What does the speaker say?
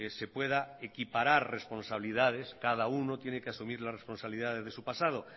se pueda equiparar responsabilidades cada uno tiene que asumir las responsabilidades de su pasado